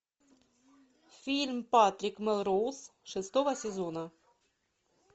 фильм патрик мелроуз шестого сезона